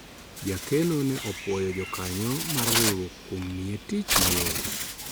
jakeno ne opwoyo jokanyo mar riwruok kuom miye tich mayot